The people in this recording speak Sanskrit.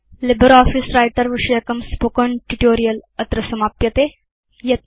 लिब्रियोफिस व्रिटर विषयकं स्पोकेन ट्यूटोरियल् अत्र समाप्यते